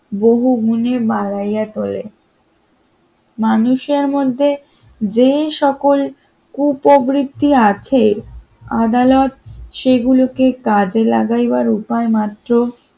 বহুগুনে বাড়াইয়া তোলে মানুষের মধ্যে যে সকল উপবৃত্তি আছে আদালত সেগুলোকে কাজে লাগাইবার উপায় মাত্র